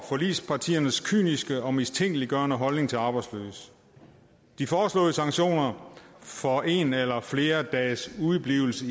forligspartiernes kyniske og mistænkeliggørende holdning til arbejdsløse de foreslåede sanktioner for en eller flere dages udeblivelse